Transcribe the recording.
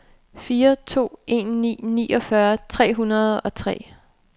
fire to en ni niogfyrre tre hundrede og tre